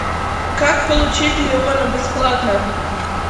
как получить леона бесплатно